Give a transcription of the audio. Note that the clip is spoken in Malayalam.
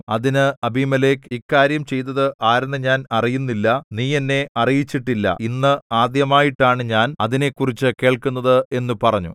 അതിന് അബീമേലെക്ക് ഇക്കാര്യം ചെയ്തത് ആരെന്ന് ഞാൻ അറിയുന്നില്ല നീ എന്നെ അറിയിച്ചിട്ടില്ല ഇന്ന് ആദ്യമായിട്ടാണു ഞാൻ അതിനെക്കുറിച്ച് കേൾക്കുന്നത് എന്നു പറഞ്ഞു